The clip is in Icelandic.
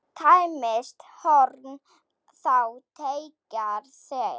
Tæmist horn þá teygað er.